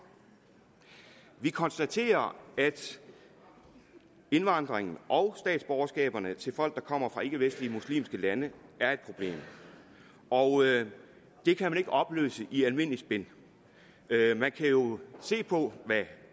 vi konstaterer at indvandringen og statsborgerskaberne til folk der kommer fra ikkevestlige muslimske lande er et problem og det kan man ikke opløse i almindeligt spin man kan jo se på hvad